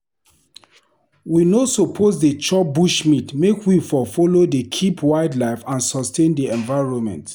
We no suppose dey chop bushmeat make we for follow dey keep wildlife and sustain di environment.